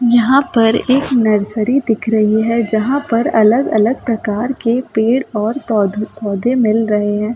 यहां पर एक नर्सरी दिख रही है जहां पर अलग-अलग प्रकार के पेड़ और पौधे मिल रहे हैं।